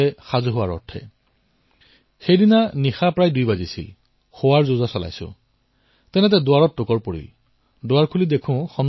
প্ৰায় ২টা বাজিছিল নেকিমই গা পা ধুই শোৱাৰ প্ৰস্তুতি চলাইছিলো তেতিয়াই দুৱাৰত কোনোবাই টুকুৰিয়ালে